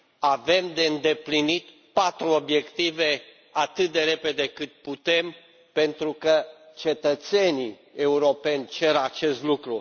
Avem de îndeplinit patru obiective atât de repede cât putem pentru că cetățenii europeni cer acest lucru.